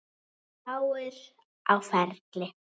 Fáir á ferli.